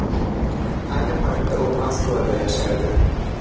Ayni paytda u Moskvada yashaydi.